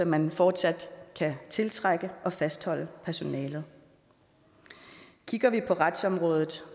man fortsat kan tiltrække og fastholde personalet kigger vi på retsområdet